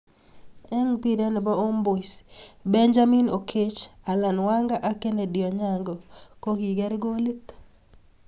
Eng mpiret ne bo Homeboyz, Benjamin Oketch, Allan Wanga ak kennedy Onyango ko kiker kolit.